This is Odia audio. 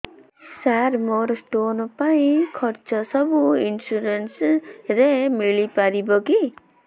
ସାର ମୋର ସ୍ଟୋନ ପାଇଁ ଖର୍ଚ୍ଚ ସବୁ ଇନ୍ସୁରେନ୍ସ ରେ ମିଳି ପାରିବ କି